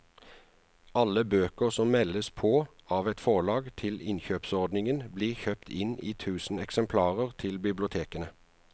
Alle bøker som meldes på av et forlag til innkjøpsordningen blir kjøpt inn i tusen eksemplarer til bibliotekene.